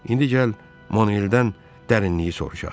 İndi gəl Manueldən dərinliyi soruşaq.